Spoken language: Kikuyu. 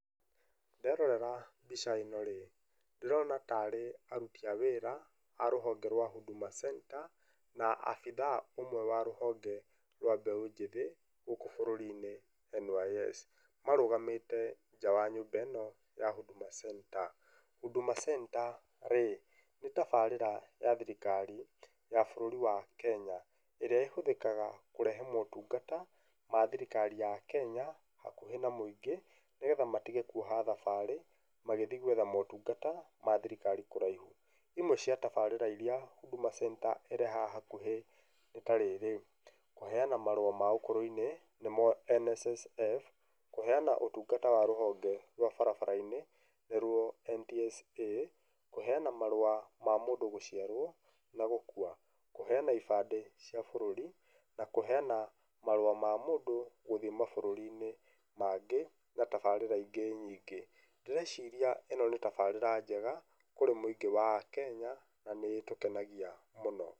Nlderorera mbica ĩno rĩ, ndĩrona tarĩ aruti a wĩra a rũhonge rwa Huduma Center, na abitha ũmwe wa rũhonge rwa mbeũ njĩthĩ, gũkũ bũrũri-inĩ NYS, marũgamĩte nja wa nyũmba ĩ'no ya Huduma Center, Huduma Center rĩ, nĩ tabarĩra ya thirikari ya bũrũri wa Kenya, ĩrĩa ĩhũthĩkaga kũrehe motungata ma thirikari ya Kenya hakuhĩ na mũingĩ, nĩgetha matige kuoha thabarĩ magĩthi gwetha motungata mathirikari kũraihu, imwe cia tabarĩra iria Huduma Center ĩrehaga hakuhĩ nĩ tarĩrĩ, kũheyana marũa ma ũkũrũ-inĩ, nĩmo NSSF, kũheyana ũtungata wa rũhonge rwa barabara-inĩ, nĩrwo NTSA, kũhenyana marũa ma mũndũ gũciarwo, na gũkua, kũheyana ibandĩ cia bũrũri, na kũheyana marũa ma mũndũ gũthiĩ mabũrũri-inĩ mangĩ, na tabarĩra ingĩ nyingĩ, ndĩreciria ĩno nĩ tabarĩra njega kũrĩ mũingĩ wa a Kenya, na nĩ ĩtũkenagia mũno.